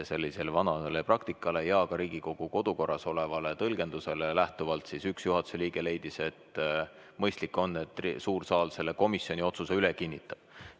Sellisele vanale praktikale tuginedes ja ka Riigikogu kodu- ja töökorras olevast tõlgendusest lähtudes leidis üks juhatuse liige, et on mõistlik, kui suur saal komisjoni otsuse üle kinnitaks.